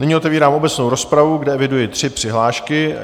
Nyní otevírám obecnou rozpravu, kde eviduji tři přihlášky.